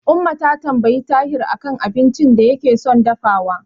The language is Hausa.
Umma ta tambayi Tahir a kan abincin da yake son dafawa.